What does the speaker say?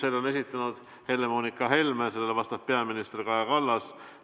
Selle on esitanud Helle-Moonika Helme ja sellele vastab peaminister Kaja Kallas.